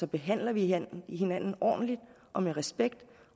behandler vi hinanden ordentligt og med respekt